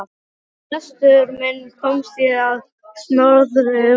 Við lestur minn komst ég á snoðir um að